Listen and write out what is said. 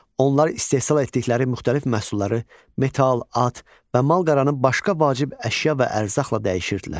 Onlar istehsal etdikləri müxtəlif məhsulları metal, at və mal-qaranın başqa vacib əşya və ərzaqla dəyişirdilər.